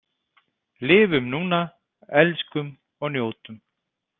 Lifum núna, elskum og njótum.